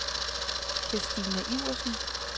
Kirstine Iversen